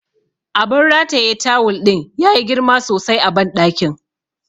Abun rataye tawul ɗin yayi girma sosai a banɗakin.